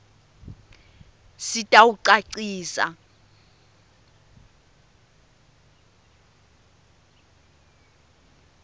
sitawucacisa